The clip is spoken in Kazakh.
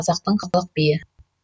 қазақтың халық биі